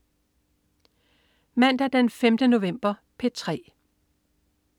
Mandag den 5. november - P3: